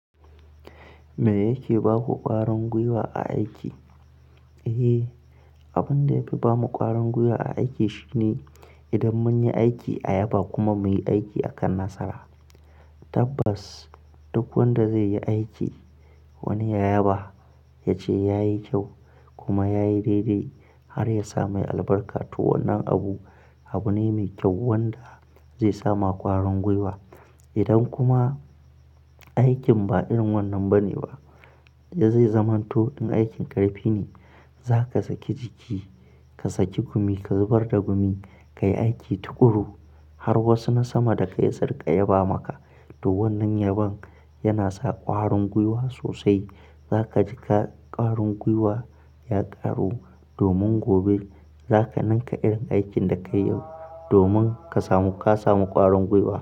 Me yake baku ƙwarin gwiwa a aiki? Eh, abin da ya fi ba mu ƙwarin gwiwa a aiki shine idan mun yi aiki a yaba kuma muyi aiki akan nasara. Tabbas duk wanda zai yi aiki wani yaba yace yayi kyau kuma yayi daidai har ya samu albarka. To wannan abu ne mai kyau wanda zai sa ma ƙwarin gwiwa. Idan kuma aikin ba irin wannan bane ba, da zai zamanto in aikin ƙarfi ne zaka saki jiki ka saki jiki ka zubar da gumi, ka yi aiki tuƙuru har wasu na sama da kai su rinƙa yaba maka. To wannan yabon yana sa ƙwarin gwiwa sosai. Zaka ji ƙwarin gwiwa ya ƙaru domin gobe zaka ninka irin aikin da ka yi yau domin ka samu ƙwarin gwiwa.